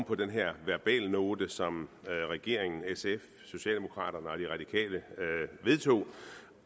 på den her verbalnote som regeringen sf socialdemokraterne og de radikale vedtog